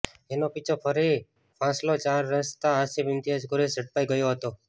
જેનો પીછો કરી હાંસોલ ચાર રસ્તા ખાતે રોકતાં ડ્રાઈવર આસીફ ઈમ્તિયાઝ કુરેશ ઝડપાઈ ગયો હતો